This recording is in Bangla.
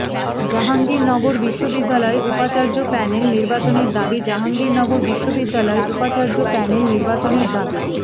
জাহাঙ্গীরনগর বিশ্ববিদ্যালয়ে উপাচার্য প্যানেল নির্বাচনের দাবি জাহাঙ্গীরনগর বিশ্ববিদ্যালয়ে উপাচার্য প্যানেল নির্বাচনের দাবি